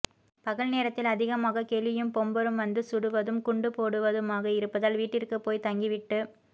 பகல் நேரத்தில் அதிகமாக கெலியும் பொம்பரும் வந்து சுடுவதும் குண்டு போடுவதுமாக இருப்பதால் வீட்டிற்கு போய் தங்கி விட்டு